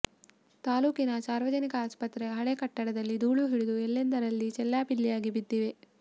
ತಾಲೂಕಿನ ಸಾರ್ವಜನಿಕ ಆಸ್ಪತ್ರೆಯ ಹಳೆ ಕಟ್ಟಡದಲ್ಲಿ ಧೂಳು ಹಿಡಿದು ಎಲ್ಲೆಂದರಲ್ಲಿ ಚೆಲ್ಲಾಪಿಲ್ಲಿಯಾಗಿ ಬಿದ್ದಿವೆ